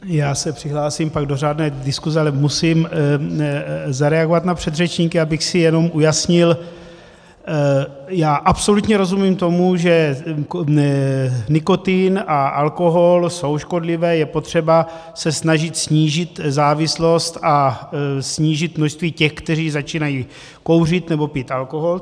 Já se přihlásím pak do řádné diskuse, ale musím zareagovat na předřečníky, abych si jenom ujasnil - já absolutně rozumím tomu, že nikotin a alkohol jsou škodlivé, je potřeba se snažit snížit závislost a snížit množství těch, kteří začínají kouřit nebo pít alkohol.